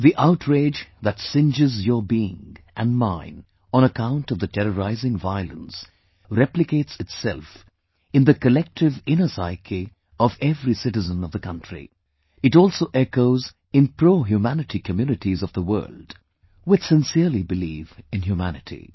The outrage that singes your being and mine on account of the terrorizing violence replicates itself in the collective inner psyche' of every citizen of the country; it also echoes in prohumanity communities of the world, which sincerely believe in humanity